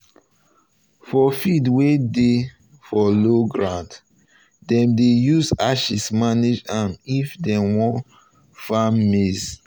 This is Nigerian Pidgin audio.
for fields wey dey for low ground dem um dey use ashes manage am if dem want farm maize.